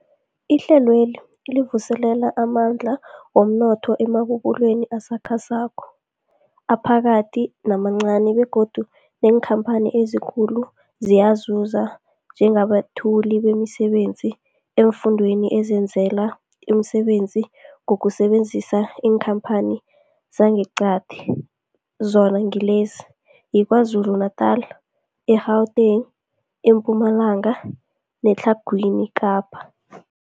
Ihlelweli livuselela amandla womnotho emabubulweni asakhasako, aphakathi namancani begodu neenkhamphani ezikulu ziyazuza njengabethuli bemisebenzi eemfundeni ezizenzela umsebenzi ngokusebenzisa iinkhamphani zangeqadi, zona ngilezi, yiKwaZulu-Natala, i-Gauteng, iMpumalanga neTlhagwini Kapa.